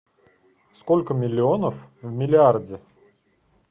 сколько миллионов в миллиарде